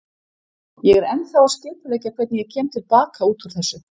Ég er ennþá að skipuleggja hvernig ég kem til baka út úr þessu.